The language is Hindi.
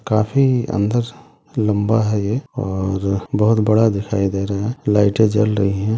काफी अंदर लम्बा है ये और बहुत बड़ा दिखाई दे रहा है लाइटे जल रही है।